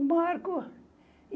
O Marco.